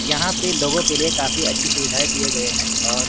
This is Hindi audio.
यहां पे लोगों के लिए काफी अच्छी सुविधाए दिए गए हैं और--